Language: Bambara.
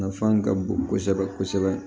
Nafan ka bon kosɛbɛ kosɛbɛ